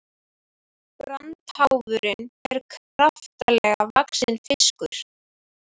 Brandháfurinn er kraftalega vaxinn fiskur.